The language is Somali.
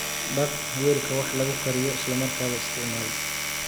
Dhaq weelka wax lagu kariyo isla markaaba isticmaal.